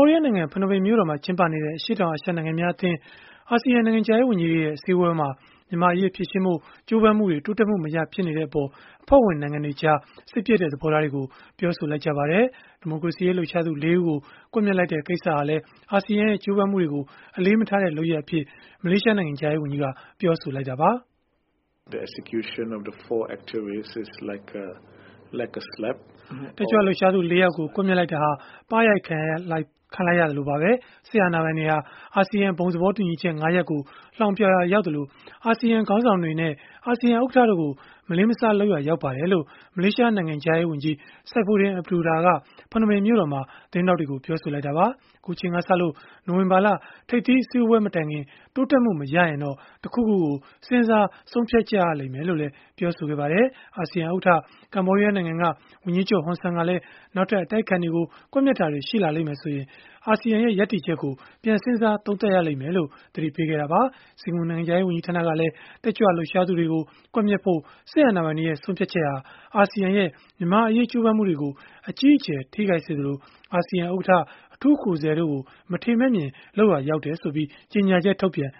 ောဒီးယားနိုင်ငံ ဖနွမ်းပင်မြို့တော်မှာ ကျင်းပနေတဲ့ အရှေ့တောင်အာရှ နိုင်ငံများအသင်း အာဆီယံ နိုင်ငံခြားရေး ဝန်ကြီးတွေရဲ့ အစည်းအဝေးမှာ မြန်မာ့အရေး ဖြေရှင်းဖို့ ကြိုးပမ်းမှုတွေ တိုးတက်မှုမရဘဲ ဖြစ်နေတဲ့အပေါ် အဖွဲ့ဝင်နိုင်ငံတွေကြား စိတ်ပျက်တဲ့ သဘောထားတွေကို ပြောဆိုလိုက်ကြပါတယ်။ ဒီမိုကရေစီရေး လှုပ်ရှားသူ ၄ ဦးကို ကွပ်မျက်လိုက်တဲ့ ကိစ္စဟာလည်း အာဆီယံရဲ့ ကြိုးပမ်းမှုတွေကို အလေးမထားတဲ့ လုပ်ရပ်အဖြစ် မလေးရှားနိုင်ငံခြားရေးဝန်ကြီးက ပြောဆိုခဲ့တာပါ။ “တက်ကြွလှုပ်ရှားသူ ၄ ယောက်ကို ကွပ်မျက်လိုက်တာဟာ ပါးရိုက်ခံလိုက်ရသလိုပါပဲ။ စစ်အာဏာပိုင်တွေဟာ အာဆီယံ ဘုံသဘောတူညီချက် ၅ ရပ်ကို လှောင်ပြောင်ရာရောက်သလို၊ အာဆီယံခေါင်းဆောင်တွေနဲ့ အာဆီယံ ဥက္ကဋ္ဌတို့ကို မလေးမစား လုပ်ရာရောက်ပါတယ်” လို့ မလေးရှား နိုင်ငံခြားရေးဝန်ကြီး Saifuddin Abdullah က ဖနွမ်းပင်မြို့တော်မှာ သတင်းထောက်တွေကို ပြောဆိုသွားတာပါ။ အခုအချိန်ကစလို့ နိုဝင်ဘာလ ထိပ်သီးအစည်းအဝေး မတိုင်ခင် တိုးတက်မှု မရရင်တော့ တခုခုကို စဉ်းစားဆုံးဖြတ်ရလိမ့်မယ်လို့လည်း ပြောပါတယ်။ အာဆီယံ ဥက္ကဋ္ဌ ကမ္ဘောဒီးယားနိုင်ငံက ဝန်ကြီးချုပ် ဟွန်ဆန်ကလည်း နောက်ထပ် အတိုက်အခံတွေကို ကွပ်မျက်တာတွေ ရှိလာမယ်ဆိုရင် အာဆီယံရဲ့ ရပ်တည်ချက်ကို ပြန်စဉ်းစားသုံးသပ်ရမယ်လို့ သတိပေးခဲ့တာပါ။ စင်ကာပူ နိုင်ငံခြားရေး ဝန်ကြီးဌာနကလည်း တက်ကြွလှုပ်ရှားသူတွေကို ကွပ်မျက်ဖို့ စစ်အာဏာပိုင်တွေရဲ့ ဆုံးဖြတ်ချက်ဟာ အာဆီယံရဲ့ မြန်မာ့အရေး ကြိုးပမ်းမှုတွေကို အကြီးအကျယ် ထိခိုက်စေသလို၊ အာဆီယံ ဥက္ကဋ္ဌ၊ အထူးကိုယ်စားလှယ်တို့ကို မထေမဲ့မြင် လုပ်ရာရောက်ကြောင်း ကြေညာချက် ထုတ်ပြန်